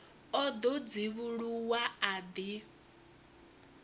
o ḓo dzivhuluwa a ḓi